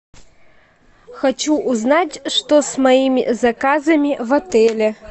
хочу узнать что с моими заказами в отеле